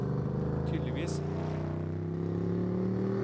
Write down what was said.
tydeligvis